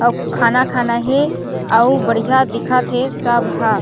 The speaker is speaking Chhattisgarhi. अउ खाना-खाना हे ओउ बढ़िया दिखत हे सब ह।